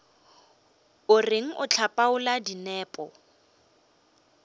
o reng o hlapaola dinepo